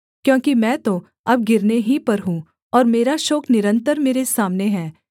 क्योंकि मैं तो अब गिरने ही पर हूँ और मेरा शोक निरन्तर मेरे सामने है